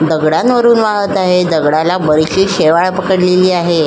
दगडांवरून वाहत आहे दगडाला बरीचशी शेवाळ पकडलेली आहे.